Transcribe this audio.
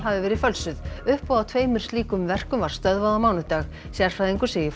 hafi verið fölsuð uppboð á tveimur slíkum verkum var stöðvað á mánudag sérfræðingur segir